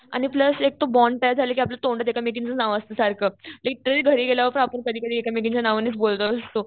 आणि प्लस एक तो बॉण्ड तयार झाला कि आपल्याला तोंडात एकमेकींचंच नाव असतं सारखं. लिटरली घरी गेल्यावर पण आपण कधी कधी एकमेकींच्या नावानेच बोलत असतो.